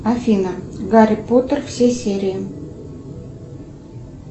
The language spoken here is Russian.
афина гарри поттер все серии